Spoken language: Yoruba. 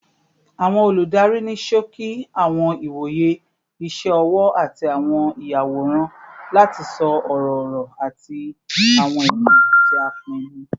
Awọn oludari ni ṣoki awọn iwoye iṣẹ ọwọ ati awọn iyaworan lati sọ ọrọ-ọrọ ati awọn ẹdun ti a pinnu